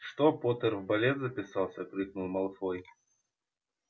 что поттер в балет записался крикнул малфой